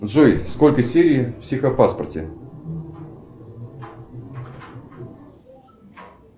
джой сколько серий в психопаспорте